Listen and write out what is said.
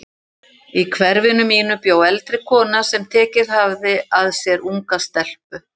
Í hverfinu mínu bjó eldri kona sem tekið hafði að sér unga stelpu.